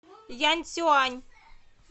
янцюань